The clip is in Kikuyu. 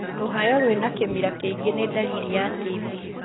Rũhayo rwĩna kĩmira kĩingĩ nĩ ndariri ya TB.